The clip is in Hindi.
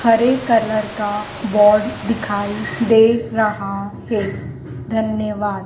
हरे कलर का बोर्ड दिखाई दे रहा है धन्यवाद।